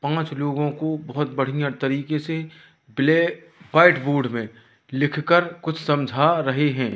पांच लोगों को बहोत बढ़िया तरीके से ब्लै व्हाइट बोर्ड में लिखकर कुछ समझा रहे हैं।